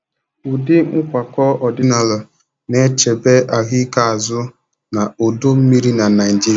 ụdị nkwakọ ọdinala na-echebe ahụike azụ na odo mmiri na Naijiria